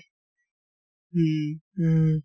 উম